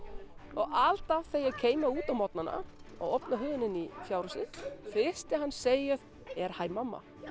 og alltaf þegar ég kem út á morgnanna og opna hurðina inn í fjárhúsið fyrsta sem hann segir er hæ mamma